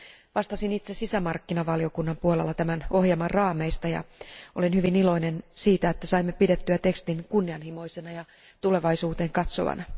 Vastasin itse sisämarkkinavaliokunnan puolella tämän ohjelman raameista ja olen hyvin iloinen siitä, että saimme pidettyä tekstin kunnianhimoisena ja tulevaisuuteen katsovana.